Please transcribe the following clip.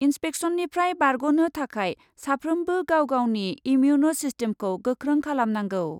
इन्पेक्सननिफ्राय बारग' नो थाखाय साफ्रोमबो गाव गावनि इमिउन सिस्टेमखौ गोख्रों खालामनांगौ।